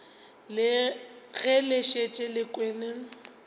ge le šetše le kwele